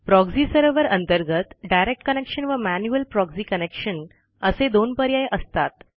proxy server अंतर्गत direct connection व manual proxy connection असे दोन पर्याय असतात